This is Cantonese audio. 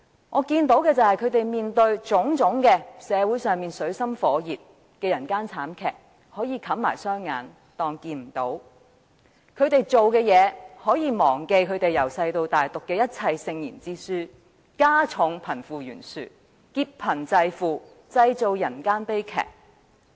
我看到的是，他們面對社會上種種水深火熱、人間慘劇，可以視而不見；他們可以忘記從小到大讀過的聖賢之書，所做的一切只會加重貧富懸殊，劫貧濟富，製造人間悲劇。